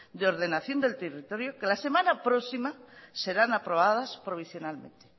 de ordenación del territorio que la semana próxima serán aprobadas provisionalmente